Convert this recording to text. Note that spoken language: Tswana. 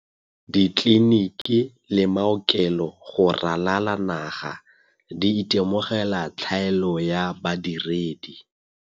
Ditleliniki le maokelo go ralala naga di itemogela tlhaelo ya badiredi.